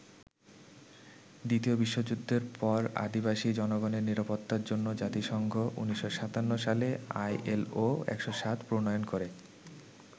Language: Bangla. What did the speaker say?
দ্বিতীয় বিশ্বযুদ্ধের পর আদিবাসী জনগণের নিরাপত্তার জন্য জাতিসংঘ ১৯৫৭ সালে আইএলও ১০৭ প্রণয়ন করে।